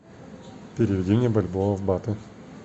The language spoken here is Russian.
переведи мне бальбоа в баты